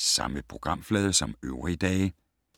Samme programflade som øvrige dage